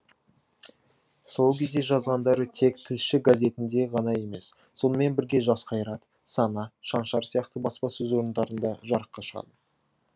сол кезде жазғандары тек тілші газетінде ғана емес сонымен бірге жас қайрат сана шаншар сияқты баспасөз орындарында жарыққа шығады